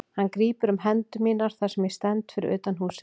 Hann grípur um hendur mínar þar sem ég stend fyrir utan húsið.